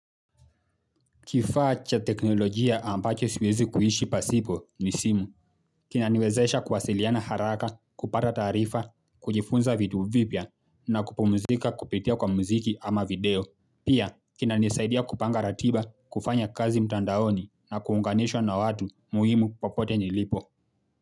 Kifaa cha teknolojia ambacho siwezi kuishi pasipo ni simu, kinaniwezesha kuwasiliana haraka, kupata taarifa, kujifunza vitu vipya na kupumzika kupitia kwa muziki ama video. Pia, kinaniisaidia kupanga ratiba, kufanya kazi mtandaoni na kuunganishwa na watu muhimu popote nilipo.